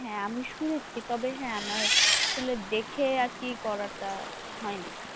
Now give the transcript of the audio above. হ্যাঁ হ্যাঁ আমি শুনেছি তবে হ্যাঁ আমার আসলে দেখে আর কে করাটা হয়নি,